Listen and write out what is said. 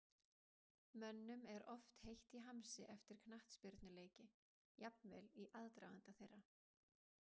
Mönnum er oft heitt í hamsi eftir knattspyrnuleiki, jafnvel í aðdraganda þeirra.